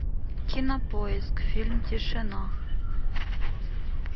кинопоиск фильм тишина